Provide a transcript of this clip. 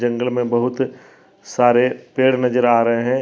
जंगल में बहुत सारे पेड़ नजर आ रहे हैं।